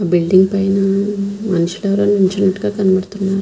Building పైన మనుషులు ఎవరో నిలచ్చునట్టుగా కడబుతున్నారు.